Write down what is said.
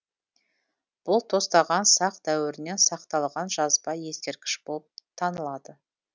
бұл тостаған сақ дәуірінен сақталған жазба ескерткіш болып танылады